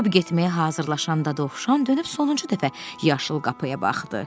Çıxıb getməyə hazırlaşan Dovşan dönüb sonuncu dəfə yaşıl qapıya baxdı.